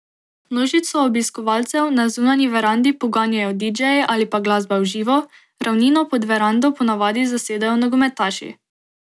Množico obiskovalcev na zunanji verandi poganjajo didžeji ali pa glasba v živo, ravnino pod verando ponavadi zasedejo nogometaši.